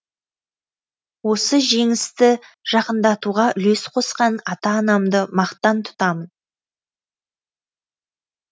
осы жеңісті жақындатуға үлес қосқан ата анамды мақтан тұтамын